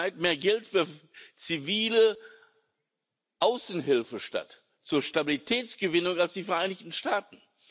Haushalt weit mehr Geld für zivile Außenhilfe statt zur Stabilitätsgewinn aus als die Vereinigten Staaten.